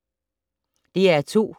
DR2